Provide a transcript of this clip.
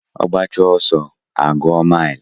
Ogbacha oso a gwuo mile.